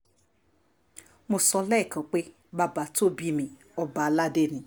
mo sọ lẹ́ẹ̀kan pé bàbá tó bí mi ọba aládé ni